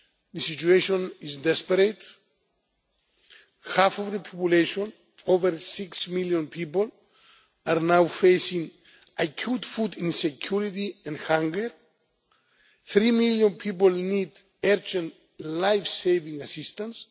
The situation is desperate. Half the population over six million people are now facing acute food insecurity and hunger. Three million people need urgent life saving assistance.